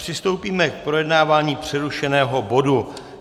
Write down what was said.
Přistoupíme k projednávání přerušeného bodu.